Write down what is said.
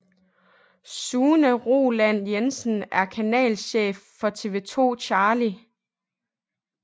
Sune Roland Jensen er kanalchef for TV 2 CHARLIE